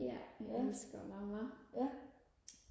ja jeg elsker og lave mad